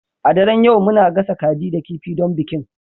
A daren yau muna gasa kaji da kifi don bikin